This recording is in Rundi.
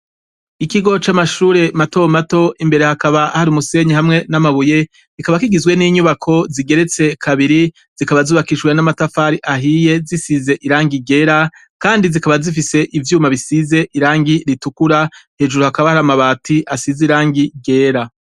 Ikigo camashure matomato imbere hakaba hari umusenyi namabuye kikaba kigizwe ninyubako zigeretse kabiri zikaba zubakishijwe namatafari ahiye zisize irangi ryera kandi zikaba zifise ivyuma bisize irangi ritukura hejuru hakaba hari amabati asize irangi ryera